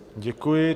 Děkuji.